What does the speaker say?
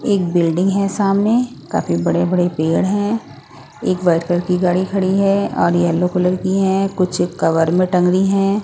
एक बिल्डिंग है सामने काफी बड़े-बड़े पेड़ है एक व्हाइट कलर की गाड़ी खड़ी है और येलो कलर की है कुछ कवर मे टंगी हैं।